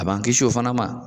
A b'an kisi o fana ma.